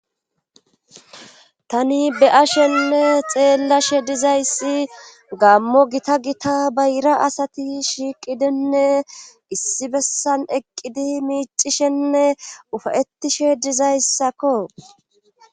tani be7ashenne xeellashe dizayssi gammo gita gita bayira asati shiiqidinne issi bessan eqqidi miicishenne ufayettishe dizayssakko